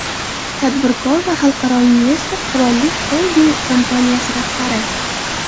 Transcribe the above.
Tadbirkor va xalqaro investor, Qirollik xolding kompaniyasi rahbari.